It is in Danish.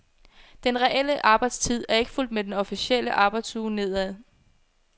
Den reelle arbejdstid er ikke fulgt med den officielle arbejdsuge nedad.